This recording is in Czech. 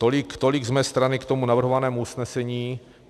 Tolik z mé strany k tomu navrhovaného usnesení.